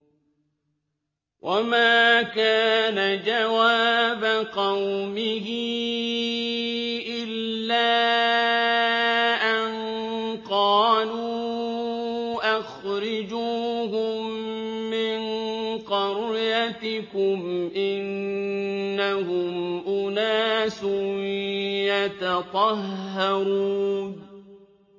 وَمَا كَانَ جَوَابَ قَوْمِهِ إِلَّا أَن قَالُوا أَخْرِجُوهُم مِّن قَرْيَتِكُمْ ۖ إِنَّهُمْ أُنَاسٌ يَتَطَهَّرُونَ